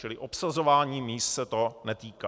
Čili obsazování míst se to netýká.